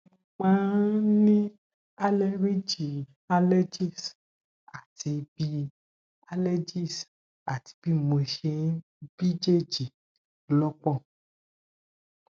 mo máa ń ní àleríjì allergies àti bí allergies àti bí mo ṣe ń bíjèjì ló pọ